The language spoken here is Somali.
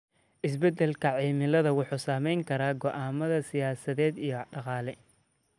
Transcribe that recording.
Isbeddelka cimilada wuxuu saameyn karaa go'aamada siyaasadeed iyo dhaqaale.